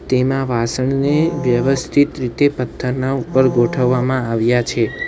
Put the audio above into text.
એમાં વાસણને વ્યવસ્થિત રીતે પથ્થરના ઉપર ગોઠવવામાં આવ્યા છે.